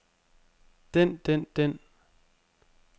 den den den